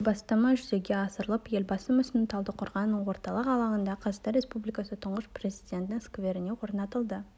игі бастама жүзеге асырылып елбасы мүсіні талдықорғанның орталық алаңындағы қазақстан республикасы тұңғыш президентінің скверіне орнатылды